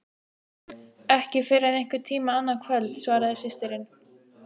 Ekki fyrr en einhvern tíma annað kvöld, svaraði systirin.